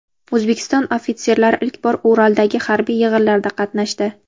O‘zbekiston ofitserlari ilk bor Uraldagi harbiy yig‘inlarda qatnashdi.